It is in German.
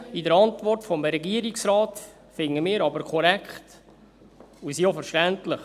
Die Ausführungen in der Antwort des Regierungsrates finden wir aber korrekt und auch verständlich.